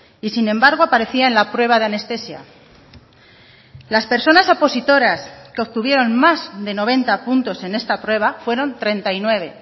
y sin embargo aparecía en la prueba de anestesia las personas opositoras que obtuvieron más de noventa puntos en esta prueba fueron treinta y nueve